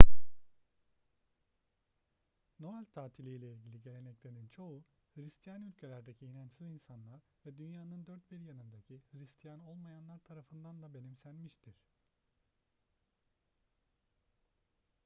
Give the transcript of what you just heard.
noel tatili ile ilgili geleneklerin çoğu hıristiyan ülkelerdeki inançsız insanlar ve dünyanın dört bir yanındaki hıristiyan olmayanlar tarafından da benimsenmiştir